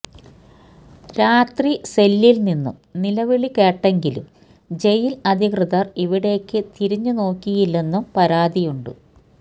രാത്രി സെല്ലിൽ നിന്നു നിലവിളി കേട്ടെങ്കിലും ജയിൽ അധികൃതർ ഇവിടേയ്ക്കു തിരിഞ്ഞു നോക്കിയില്ലെന്നും പരാതിയുണ്ട്